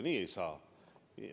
Nii ei saa.